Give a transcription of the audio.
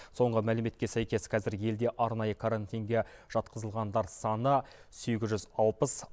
соңғы мәліметке сәйкес қазір елде арнайы карантинге жатқызылғандар саны сегіз жүз алпыс